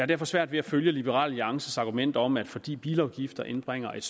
derfor svært ved at følge liberal alliances argument om at vi fordi bilafgifterne indbringer et